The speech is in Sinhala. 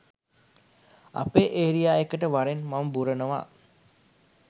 අපේ ඒරියා එකට වරෙන් මම බුරනවා